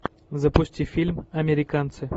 запусти фильм американцы